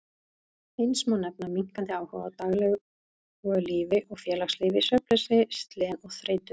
Eins má nefna minnkandi áhuga á daglegu lífi og félagslífi, svefnleysi, slen og þreytu.